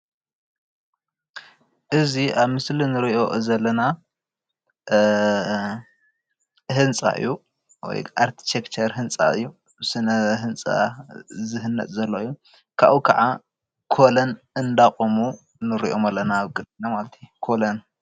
እዚ አብ ምስሊ ንሪኦ ዘለና ህንፃ እዪ ። ወይ አርክቴክት ህንፃ እዪ ስነ ህንፃ ዝህነፅ ዘሎ እዪ አብዚ ምስሊ ኮለን ጠጠዉ አቢሎም ይረአዪ ኣለዉ ።